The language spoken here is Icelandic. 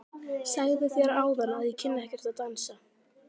Ég sagði þér áðan að ég kynni ekkert að dansa.